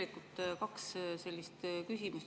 Mul on kaks küsimust.